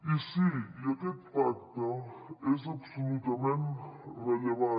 i sí aquest pacte és absolutament rellevant